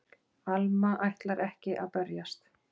Alma ætlar ekki að berjast.